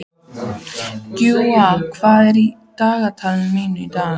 Guja, hvað er í dagatalinu mínu í dag?